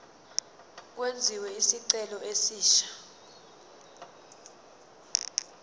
kwenziwe isicelo esisha